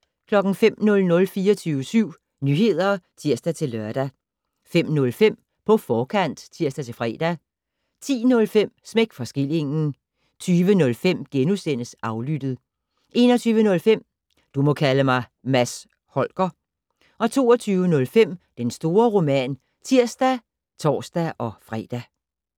05:00: 24syv Nyheder (tir-lør) 05:05: På forkant (tir-fre) 10:05: Smæk for skillingen 20:05: Aflyttet * 21:05: Du må kalde mig Mads Holger * 22:05: Den store roman (tir og tor-fre)